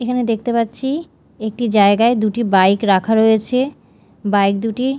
এখানে দেখতে পাচ্ছি একটি জায়গায় দুটি বাইক রাখা রয়েছে বাইক দুটি--